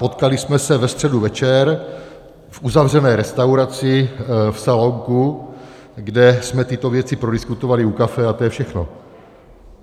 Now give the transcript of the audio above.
Potkali jsme se ve středu večer v uzavřené restauraci, v salonku, kde jsme tyto věci prodiskutovali u kafe, a to je všechno.